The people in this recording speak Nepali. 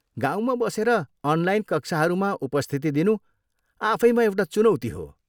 गाउँमा बसेर अनलाइन कक्षाहरूमा उपस्थिति दिनु आफैमा एउटा चुनौती हो।